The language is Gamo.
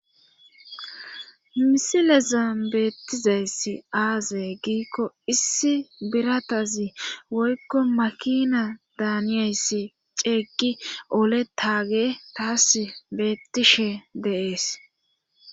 Misileza beettizayssi aazay giikko issi biratazi woykko makina daaniyayssi ceeggi ole taage taas beettishe deees.